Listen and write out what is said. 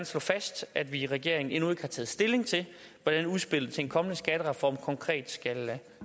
slå fast at vi i regeringen endnu ikke har taget stilling til hvordan udspillet til en kommende skattereform konkret